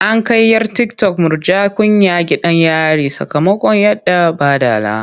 An kai 'yar tiktok Murja Kunya gidan yari sakamakon yaɗa baɗala.